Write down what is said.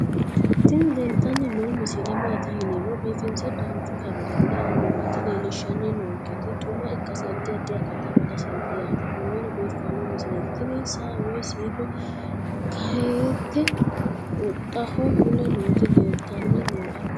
tini leeltanni noo misile maaati yiniro biifinse danchu kaamerinni haa'noonnita leellishshanni nonketi xuma ikkase addi addi akata amadaseeti yaate konnira biiffanno misileeti tini saa woy siito keennahitte huxxaho mule nooti leeltanni nooe